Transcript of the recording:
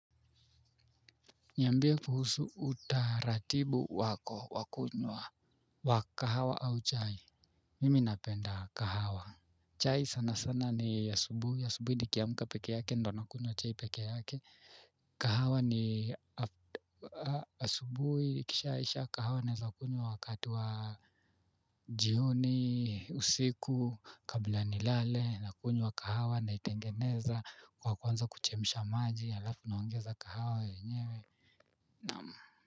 Niambie kuhusu utaratibu wako wa kunywa wa kahawa au chai. Mimi napenda kahawa. Chai sana sana ni asubuhi asubuhi nikiamka peke yake ndo nakunywa chai peke yake. Kahawa ni asubuhi kishaisha kahawa naweza kunywa wakati wa jihoni usiku kabla nilale nakunywa kahawa naitengeneza kwa kuanza kuchemsha maji halafu naongeza kahawa yenyewe. Naam.